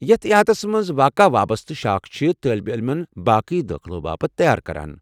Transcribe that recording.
یتھ احاطس منز واقع وابستہٕ شاخ چھِ طٲلب علمن باقی دٲخلو باپت تیار كران ۔